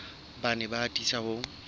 ba ne ba atisa ho